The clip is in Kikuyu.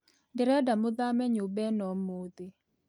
Ndĩrenda mũthame nyũma ĩno ũmũthĩ